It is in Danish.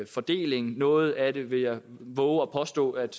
fordelingen noget af det vil jeg vove at påstå at